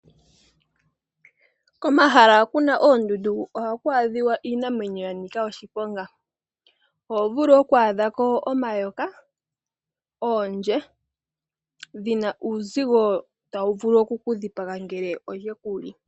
Komahala ho kuna oondundu ohaku adhika iinamwenyo ya nika oshiponga. Oho vulu oku adhako omayoka, oondje dhina uuzigo tawu vulu oku ku dhipaga ngele odhe kuli.